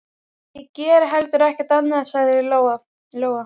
Ég geri heldur ekkert annað, sagði Lóa-Lóa.